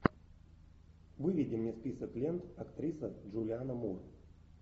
выведи мне список лент актриса джулиана мур